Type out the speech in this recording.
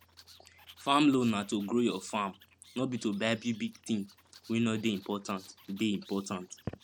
farm loan na to grow your farm no be to buy bigbig thing wey no dey important dey important